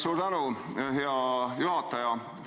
Suur tänu, hea juhataja!